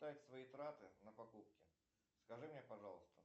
свои траты на покупки скажи мне пожалуйста